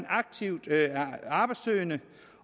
aktivt arbejdssøgende